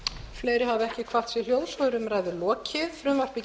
til annarrar umræðu og viðskiptanefndar